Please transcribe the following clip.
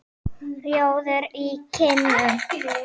Rjóður í kinnum.